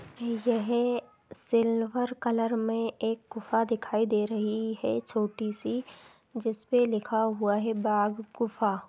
यह silver colour में एक गुफा दिखाई दे रही है छोटी सी जिसपे लिखा हुआ है बाघ गुफा।